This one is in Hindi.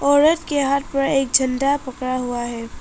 औरत के हाथ में अगर झंडा पकड़ा हुआ है।